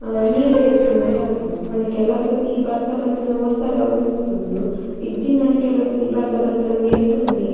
ಹಾ ನೀರ್ ಎರ್ಪುನ ಇಂದ್ ಆಪುಂಡ್ ಪಂಡ ಕೆಲಸರ್ತಿ ಬರ್ಸ ಬತ್ತಿನ ಒಸರಾದ್ ಉಂತುಂಡ್ ಇಜ್ಜಿಂಡಾಂಡ ಕೆಲಸರ್ತಿ ಬರ್ಸ ಬತ್ತಿನ ಎರ್ಪುಂಡ್ ನೀರ್.